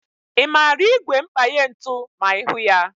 Ị maara ígwè mkpanye ntụ ma ịhụ ya?